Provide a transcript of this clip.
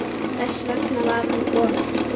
Þess vegna var hún komin.